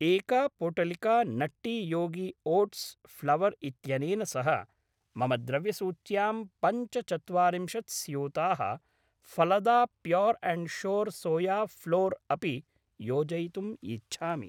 एका पोटलिका Nutty Yogi oats flour इत्यनेन सह मम द्रव्यसूच्यां पञ्चचत्वारिंशत् स्यूताः Phalada pure and sure soya flour अपि योजयितुम् इच्छामि।